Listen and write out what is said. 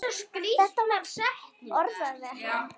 Þetta var orðað við hann.